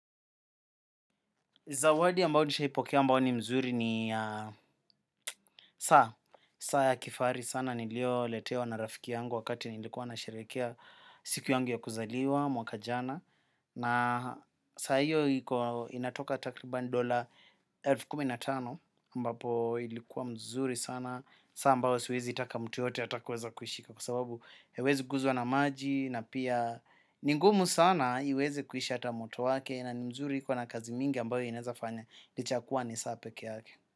Zawadi ambao nishaipokea ambao ni mzuri ni saa, saa ya kifaari sana nilio letewa na rafiki yangu wakati nilikuwa na sherehekea siku yangu ya kuzaliwa, mwaka jana. Na saa hiyo inatoka takriban dola elfu kumi na tano ambapo ilikuwa mzuri sana. Saa ambayo siwezi itaka mtu yoyote atakuweza kuishika kwa sababu hiwezi guzwa na maji na pia ni ngumu sana iweze kuisha ata moto wake. Na ni mzuri iko na kazi mingi ambayo inaezafanya. Licha yakua ni saa peke yake.